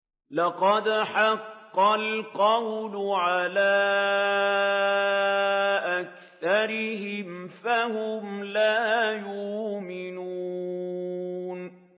لَقَدْ حَقَّ الْقَوْلُ عَلَىٰ أَكْثَرِهِمْ فَهُمْ لَا يُؤْمِنُونَ